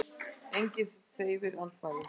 Enginn hreyfir andmælum.